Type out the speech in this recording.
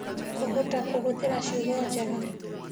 Kũhota kũhũthĩra ciugo njega: